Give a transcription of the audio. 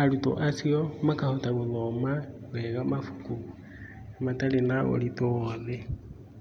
arũtwo acio makahota gũthoma wega mabuku matarĩ na ũritũ owothe.